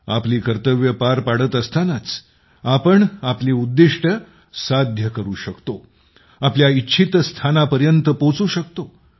आपली कर्तव्ये पार पाडत असतानाच आपण आपली उद्दिष्टे साध्य करू शकतो आपल्या इतच्छित स्थानापर्यंत पोहोचू शकतो